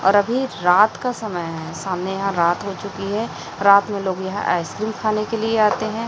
और अभी रात का समय है सामने यहां रात हो चुकी है रात में लोग यहां आइसक्रीम खाने के लिए आते हैं।